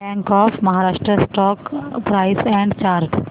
bank of Maharashtra stock price and chart